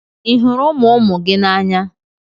Ị hụrụ ụmụ ụmụ gị n'anya?